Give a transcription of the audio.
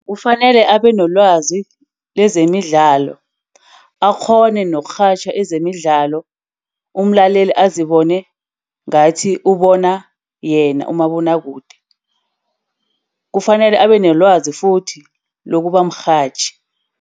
Kufanele abenelwazi lezemidlalo, akghone nokurhatjha ezemidlalo. Umlaleli azibona engathi ubona yena umabonwakude. Kufanele abenelwazi futhi lokubamrhatjhi.